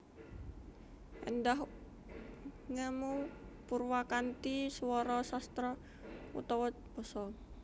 Éndah ngemu purwakanthi swara sastra utawa basa